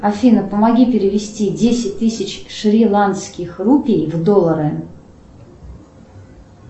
афина помоги перевести десять тысяч шриланкских рупий в доллары